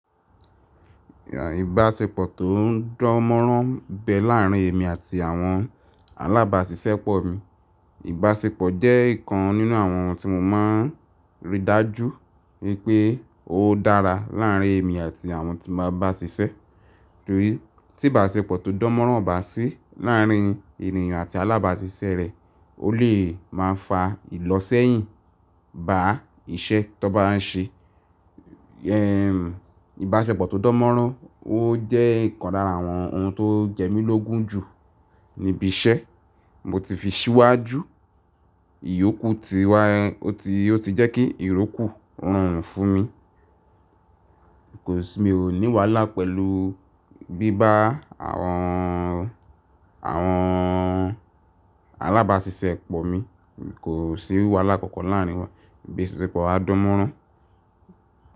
Ìbáṣepọ̀ tó ń dánmọ́nrán ń bẹ láàrín èmi àti àwọn alábàáṣiṣẹ́ pọ̀ mi. Ìbáṣepọ̀ jẹ́ ìkan nínú àwọn ohun tí mo máa ń rí dájú wípé ó dára láàrín èmi àti àwọn tí má bá sìṣẹ́. Torí tí ìbáṣepọ̀ tó dánmọ́nrán o bá sí láàrín ènìyàn àti alábàáṣiṣẹ́ rẹ, ó lè máa ń fa ìlọ́sẹ́yìn bá iṣẹ́ tọ bá ń ṣe. Ehn, ìbáṣepọ̀ tó dánmọ́nrán ó jẹ́ ìkan lára àwọn ohun tó jẹ mí lógún jù níbí iṣẹ́. Mo ti fi síwájú ìyókú ti wá, ó ti, ó ti jẹ́ kí ìrókù rọrùn fún mi. Kò sí, mi ò ní wàhálà pẹ̀lú bíbá àwọn, àwọn alábàáṣiṣẹ́ pọ̀ mi. Kò sí wàhálà kankan láàrín wa. Ìbáṣepọ̀ wà dánmọ́nrán.